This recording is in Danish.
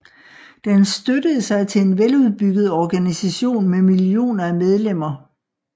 Den støttede sig til en veludbygget organisation med millioner af medlemmer